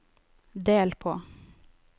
del på